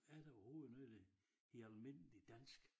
Er der overhovedet noget der hedder almindeligt dansk?